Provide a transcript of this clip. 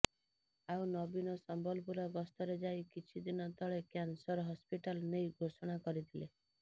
ଆଉ ନବୀନ ସମ୍ବଲପୁର ଗସ୍ତରେ ଯାଇ କିଛି ଦିନ ତଳେ କ୍ୟାନସର ହସ୍ପିଟାଲ ନେଇ ଘୋଷଣା କରିଥିଲେ